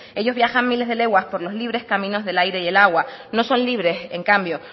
ellos viajan miles de leguas por los libres caminos del aire y el agua no son libres en cambio